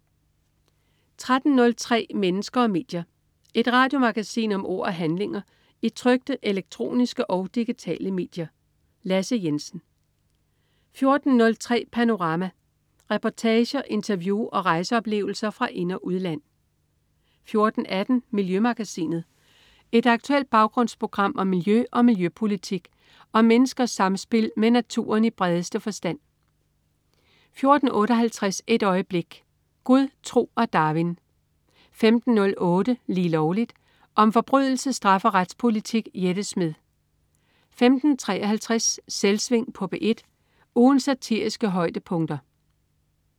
13.03 Mennesker og medier. Et radiomagasin om ord og handlinger i trykte, elektroniske og digitale medier. Lasse Jensen 14.03 Panorama. Reportager, interview og rejseoplevelser fra ind- og udland 14.18 Miljømagasinet. Et aktuelt baggrundsprogram om miljø og miljøpolitik og om menneskers samspil med naturen i bredeste forstand 14.58 Et øjeblik. Gud, tro og Darwin 15.08 Lige Lovligt. Om forbrydelse, straf og retspolitik. Jette Smed 15.53 Selvsving på P1. Ugens satiriske højdepunkter